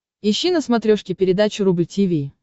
ищи на смотрешке передачу рубль ти ви